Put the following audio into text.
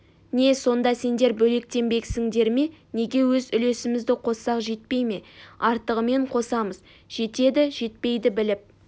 не сонда сендер бөлектенбексіңдер ме неге өз үлесімізді қоссақ жетпей ме артығымен қосамыз жетеді жетпейді біліп